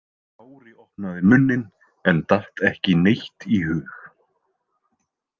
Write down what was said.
Kári opnaði munninn en datt ekki neitt í hug.